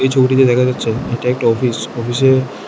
এই ছবিটিতে দেখা যাচ্ছে এটা একটা অফিস অফিসে--